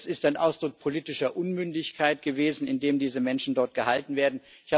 Das ist ein Ausdruck politischer Unmündigkeit gewesen, in der diese Menschen dort gehalten werden.